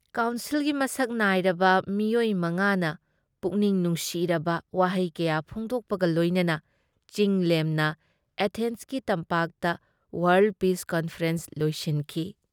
ꯀꯥꯎꯟꯁꯤꯜꯒꯤ ꯃꯁꯛ ꯅꯥꯏꯔꯕ ꯃꯤꯑꯣꯏ ꯃꯉꯥꯅ ꯄꯨꯛꯅꯤꯡ ꯅꯨꯡꯁꯤꯔꯕ ꯋꯥꯍꯩ ꯀꯌꯥ ꯐꯣꯡꯗꯣꯛꯄꯒ ꯂꯣꯏꯅꯅ ꯆꯤꯡ-ꯂꯦꯝꯅ ꯑꯦꯊꯦꯟꯁꯀꯤ ꯇꯝꯄꯥꯛꯇ ꯋꯥꯥꯔꯜ ꯄꯤꯁ ꯀꯟꯐꯔꯦꯟꯁ ꯂꯣꯏꯁꯤꯟꯈꯤ ꯫